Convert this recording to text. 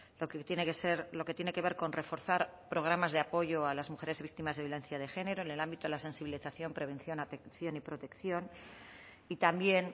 lo que tiene que ser lo que tiene que ver con reforzar programas de apoyo a las mujeres víctimas de violencia de género en el ámbito de la sensibilización prevención atención y protección y también